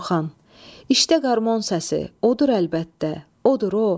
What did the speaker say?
Orxan: İşdə qarmon səsi, odur əlbəttə, odur o.